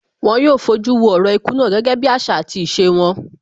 Wón yóò fojú wo orò ikú náà gẹ́gẹ́ bí àṣà àti ìṣe wọn